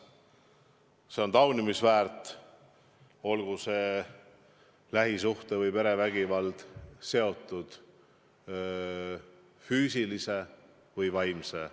See on taunimist väärt, olgu see lähisuhte- või perevägivald füüsiline või vaimne.